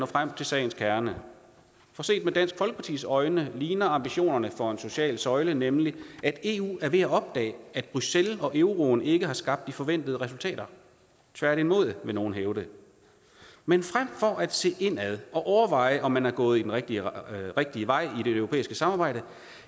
frem til sagens kerne for set med dansk folkepartis øjne ligner ambitionerne for den sociale søjle nemlig at eu er ved at opdage at bruxelles og euroen ikke har skabt de forventede resultater tværtimod vil nogen hævde men frem for at se indad og overveje om man er gået den rigtige rigtige vej i det europæiske samarbejde